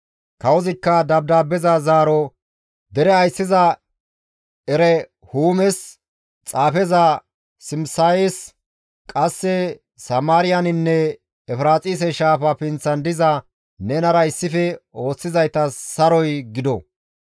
Kawozikka dabdaabbeza zaaro «Dere ayssiza Erehuumes, xaafeza Simisayes, qasse Samaariyaninne Efiraaxise shaafa pinththan diza nenara issife ooththizaytas saroy gido.